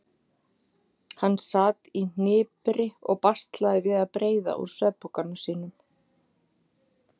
Hann sat í hnipri og baslaði við að breiða úr svefnpokanum sínum.